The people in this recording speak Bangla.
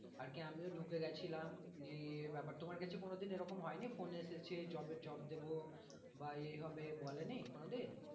আর কি আমিও ঢুকে গেছিলাম নিয়ে ইয়ে ব্যাপার তোমার কাছে কোনোদিন এরকম হয়ে নি phone এসেছে job এর job দেব বা এই হবে বলে নি কোনোদিন?